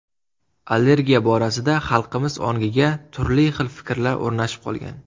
Allergiya borasida xalqimiz ongiga turli xil fikrlar o‘rnashib qolgan.